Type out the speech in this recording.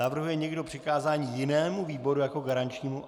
Navrhuje někdo přikázání jinému výboru jako garančnímu?